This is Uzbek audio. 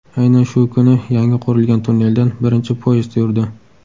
Aynan shu kuni yangi qurilgan tunneldan birinchi poyezd yurdi.